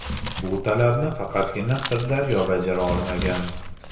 Bu talabni faqatgina Sirdaryo bajara olmagan.